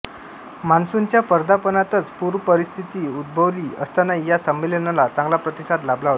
मान्सूनच्या पदार्पणातच पूरपरिस्थिती उद्भवली असतानाही या संमेलनाला चांगला प्रतिसाद लाभला होता